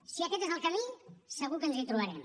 si aquest és el camí segur que ens hi trobarem